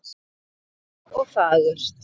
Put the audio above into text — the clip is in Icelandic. Bjart og fagurt.